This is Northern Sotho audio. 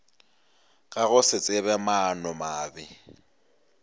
ka go se tsebe maanomabe